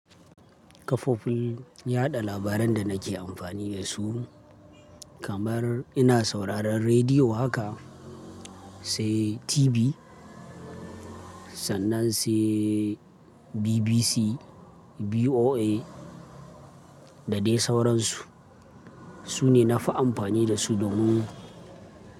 Kafofin yaɗa labaran da nake amfani da su kamar ina sauraron rediyo haka, sai TV sannan sai BBC, VOA da dai sauransu. Su ne na fi amfani da su domin.